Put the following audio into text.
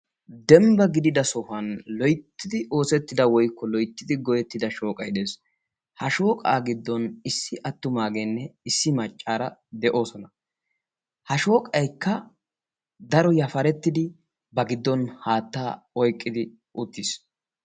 dembba gidida sohuwanloyittidi oosettida woyikko loyittidi goyyettida shooqay de'es. ha shooqaa giddon issi attumaageenne issi maccaara de'oosona. ha shooqayikka daro yafarettidi ba giddon haattaa oyiqqidi uttis.